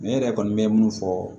Ne yɛrɛ kɔni bɛ mun fɔ